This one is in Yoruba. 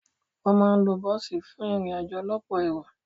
Wọ́n máa ń lo bọ́ọ̀sì fún ìrìn-àjò ọlọ́pọ̀ èrò.